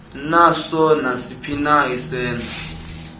naso nasiphina isenzo